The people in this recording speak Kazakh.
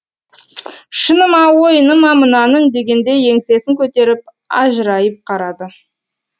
шыны ма ойыны ма мынаның дегендей еңсесін көтеріп ажырайып қарады